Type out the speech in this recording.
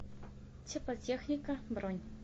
теплотехника бронь